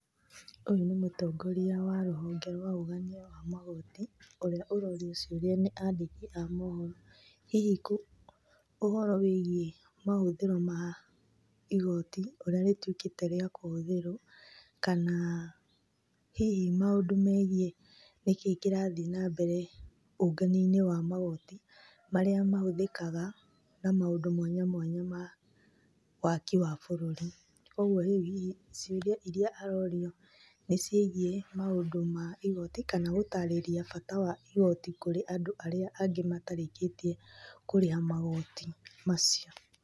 Ũyũ nĩ mũtongoria wa rũhonge rwa ũgania wa magoti, ũrĩa ũrorio ciũria nĩ andĩki a mohoro. Hihi ũhoro wĩigiĩ mahũthĩro ma igoti ũrĩa rĩtuĩkĩte rĩa kũhũthĩrwo, kana hihi maũndũ megiĩ nĩkĩĩ kĩrathiĩ nambere ũngania-inĩ wa magoti marĩa mahũthĩkaga na maũndũ mwanya mwanya ma waki wa bũrũri. Kogwo rĩu hihi ciũria iria arorio nĩ ciĩgiĩ maũndũ ma igoti kana gũtarĩria bata wa igoti kũrĩ andũ arĩa angĩ matarĩkĩtie kũrĩha magoti macio.